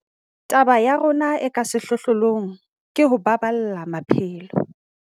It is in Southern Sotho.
Taba ya rona e ka sehlohlolong ke ho baballa maphelo.